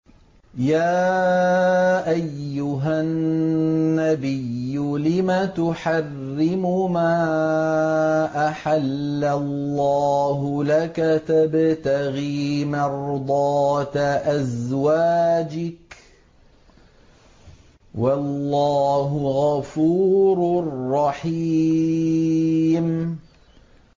يَا أَيُّهَا النَّبِيُّ لِمَ تُحَرِّمُ مَا أَحَلَّ اللَّهُ لَكَ ۖ تَبْتَغِي مَرْضَاتَ أَزْوَاجِكَ ۚ وَاللَّهُ غَفُورٌ رَّحِيمٌ